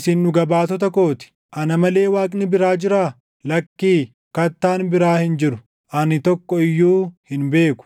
Isin dhuga baatota koo ti. Ana malee Waaqni biraa jiraa? Lakkii, Kattaan biraa hin jiru; ani tokko iyyuu hin beeku.”